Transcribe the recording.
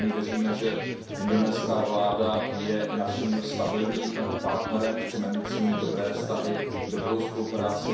Pevně věříme, že indonéská vláda je naším stabilním partnerem, chceme mít s nimi dobré vztahy, dobrou spolupráci.